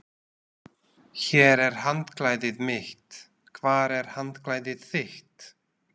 Hér er handklæðið mitt. Hvar er handklæðið þitt?